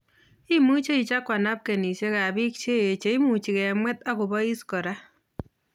Imuche ichaguan napkinisiek ab bik cheyech che imuche kemwet ak kobais kora